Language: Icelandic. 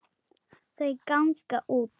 Þau ganga út.